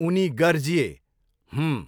उनी गर्जिए, 'हूँः'